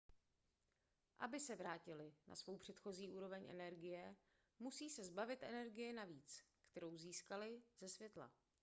aby se vrátily na svou předchozí úroveň energie musí se zbavit energie navíc kterou získaly ze světla